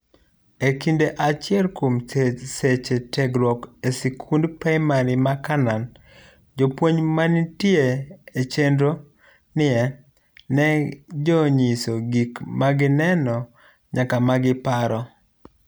Ekinde achiel kuom seche tiegruokgo esikund Primari ma Canaan, jopuonj mantie echenro nie ne jonyiso gik magineno nyaka ma giparo.